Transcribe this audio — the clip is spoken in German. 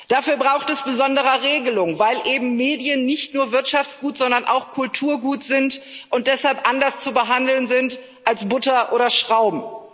Dafür braucht es besondere Regelung, weil Medien eben nicht nur Wirtschaftsgut, sondern auch Kulturgut sind und deshalb anders zu behandeln sind als Butter oder Schrauben.